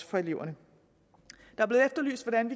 for eleverne